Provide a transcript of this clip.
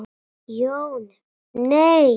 Jón: Nei.